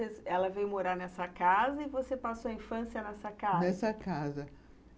Ela veio morar nessa casa e você passou a infância nessa casa? Nessa casa...